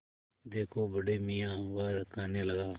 देखो बड़े मियाँ वह कहने लगा